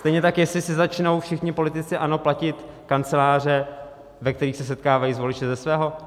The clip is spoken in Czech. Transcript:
Stejně tak jestli si začnou všichni politici ANO platit kanceláře, ve kterých se setkávají s voliči, ze svého.